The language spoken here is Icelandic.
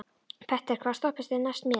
Petter, hvaða stoppistöð er næst mér?